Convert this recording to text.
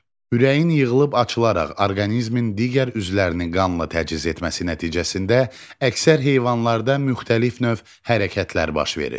Ürəyin yığılıb açılaraq orqanizmin digər üzvlərini qanla təchiz etməsi nəticəsində əksər heyvanlarda müxtəlif növ hərəkətlər baş verir.